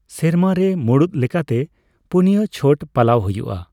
ᱥᱮᱨᱢᱟ ᱨᱮ ᱢᱩᱬᱩᱫ ᱞᱮᱠᱟᱛᱮ ᱯᱩᱱᱭᱟ ᱪᱷᱚᱴ ᱯᱟᱞᱟᱣ ᱦᱩᱭᱩᱜᱼᱟ ᱾